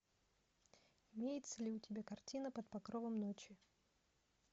имеется ли у тебя картина под покровом ночи